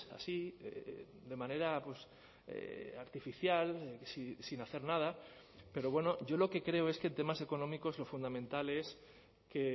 así de manera artificial sin hacer nada pero bueno yo lo que creo es que en temas económicos lo fundamental es que